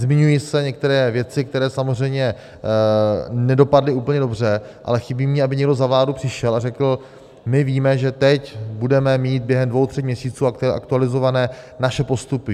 Zmiňují se některé věci, které samozřejmě nedopadly úplně dobře, ale chybí mně, aby někdo za vládu přišel a řekl: My víme, že teď budeme mít během dvou tří měsíců aktualizované naše postupy.